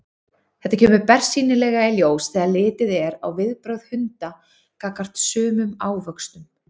Þetta kemur bersýnilega í ljós þegar litið er á viðbrögð hunda gagnvart sumum ávöxtum.